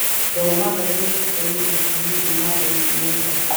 Thoma ngathĩti cia ica ikuhĩ kuuma Daily Nation